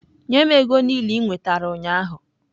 Nye m ego niile i nwetara ụnyahụ!